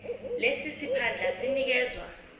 lesi siphandla sinikezwa